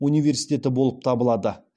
университеті болып табылады